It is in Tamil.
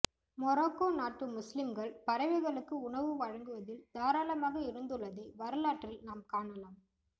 மொராக்கோ நாட்டு முஸ்லிம்கள் பறவைகளுக்கு உணவு வழங்குவதில் தாராள மாக இருந்துள்ளதை வரலாற்றில் நாம் காணலாம்